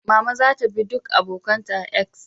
Mama za ta bi duk abokan ta a "X"